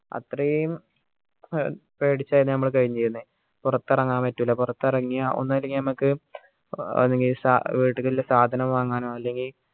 അത്രയും പേടിച്ചായിരുന്നു നമ്മൾ കഴിനീരുന്നേ പുറത്തിറങ്ങാൻ പറ്റൂല പുറത്ത് ഇറങ്ങിയ ഒന്നെങ്കി നമ്മക്ക് വീട്ടിക്കുള്ള സാധനം വാങ്ങാനോ അല്ലെങ്കി